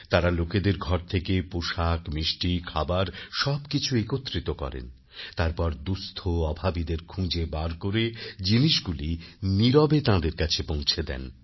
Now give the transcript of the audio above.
তারা লোকেদের ঘর থেকে পোশাক মিষ্টি খাবার সবকিছু একত্রিত করেন তারপর দুঃস্থঅভাবীদের খুঁজে বার করে জিনিসগুলি নীরবে তাদের কাছে পৌঁছে দেন